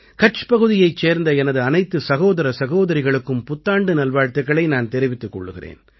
கட்ச் பகுதியைச் சேர்ந்த எனது அனைத்து சகோதர சகோதரிகளுக்கும் புத்தாண்டு நல்வாழ்த்துக்களை நான் தெரிவித்துக் கொள்கிறேன்